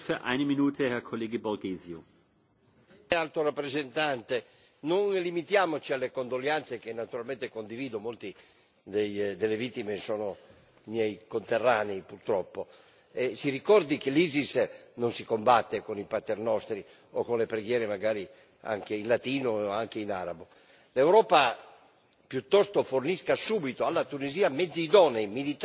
Signor Presidente, onorevoli colleghi, Alto rappresentante, non limitiamoci alle condoglianze, che naturalmente condivido molte delle vittime sono miei conterranei, purtroppo. Si ricordi che l'ISIS non si combatte con i paternostri o con le preghiere, magari anche in latino, anche in arabo. L'Europa piuttosto fornisca subito alla Tunisia mezzi idonei, militari ma anche di intelligence, e operi non solo attraverso